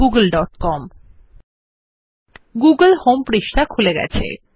Google home পৃষ্ঠা খুলে গেছে